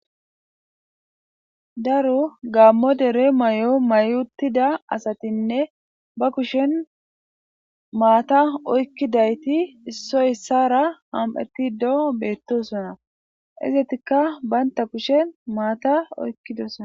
Daro gamo dere mayo mayiutida asatine ba kusheni mata oykidayti issoy isara am'etide betosona izatika banta kusheni mata oyqidosona.